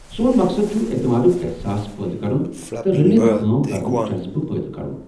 سون مقصد چھ اعتمادُک احساس پٲدٕ کرُن تہٕ رٔلِتھ كٲم كرنُك جذبہ پٲدٕ کرُن۔